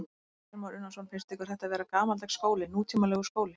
Kristján Már Unnarsson: Finnst ykkur þetta vera gamaldags skóli, nútímalegur skóli?